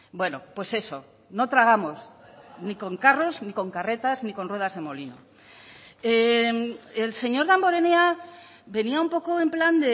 bueno pues eso no tragamos ni con carros ni con carretas ni con ruedas de molino el señor damborenea venía un poco en plan